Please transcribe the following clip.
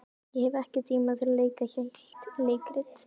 Ég hef ekki tíma til að leika heilt leikrit.